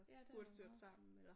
Ja det er da også meget